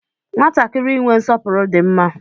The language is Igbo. Nwatakịrị inwe nsọpụrụ di mma